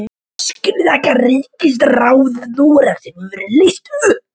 Skiljið þið ekki að ríkisráð Noregs hefur verið leyst upp!